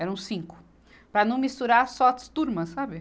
eram cinco, para não misturar só as turmas, sabe?